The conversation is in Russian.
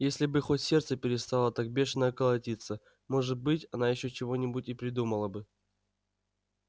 если бы хоть сердце перестало так бешено колотиться может быть она ещё чего-нибудь и придумала бы